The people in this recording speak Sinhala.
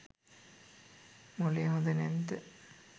මොළේ හොඳ නැද්ද.